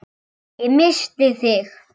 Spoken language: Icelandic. Ég missti þig.